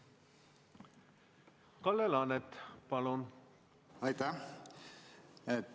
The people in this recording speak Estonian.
Kalle Laanet, palun!